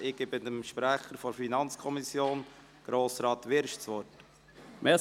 Ich gebe dem Sprecher der FiKo, Grossrat Wyrsch, das Wort.